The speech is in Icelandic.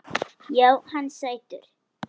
Já, hann er sætur.